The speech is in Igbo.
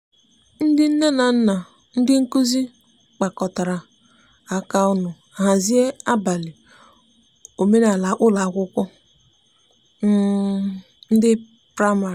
ndi nne na nna na ndi nkụzi kpakọrọ aka ọnụ hazie abali omenala n'ụlọ akwụkwo ndi praịmarị